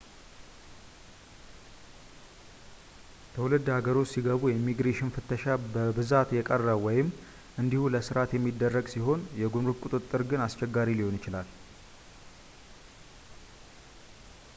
ትውልድ ሃገርዎ ውስጥ ሲገቡ የኢሚግሬሽን ፍተሻ በብዛት የቀረ ወይም እንዲሁ ለስርዓት የሚደረግ ሲሆን የጉምሩክ ቁጥጥር ግን አስቸጋሪ ሊሆን ይችላል